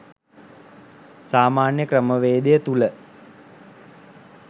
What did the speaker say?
සාමාන්‍ය ක්‍රමවේදය තුල